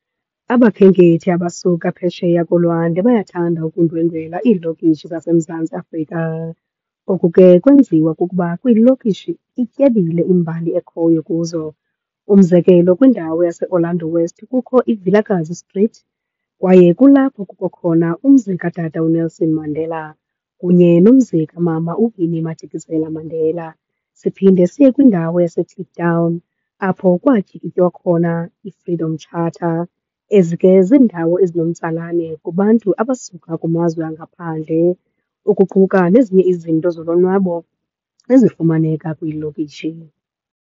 Abakhenkethi abasuka phesheya kolwandle bayathanda ukundwendwela iilokishi zaseMzantsi Afrika. Oku ke kwenziwa kukuba kwilokishi ityebile imbali ekhoyo kuzo. Umzekelo kwindawo yaseOrlando West kukho iVilakazi Street, kwaye kulapho kukho khona umzi kaTata uNelson Mandela kunye nomzi kaMama uWinnie Madikizela Mandela. Siphinde siye kwindawo yaseKliptown apho kwatyikitywa khona iFreedom Charter. Ezi ke ziindawo ezinomtsalane kubantu abasuka kumazwe angaphandle, ukuquka nezinye izinto zolonwabo ezifumaneka kwiilokishi.